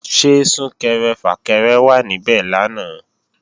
Ṣé Sún-kẹrẹ-fà-kẹrẹ wà níbẹ̀ lánàá?